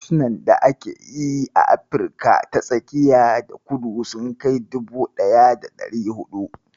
Harsunan da ake yi a Afrika ta tsakiya da kudu sun kai dubu ɗaya da ɗari huɗu.